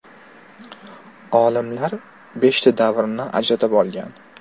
Olimlar beshta davrni ajratib olgan.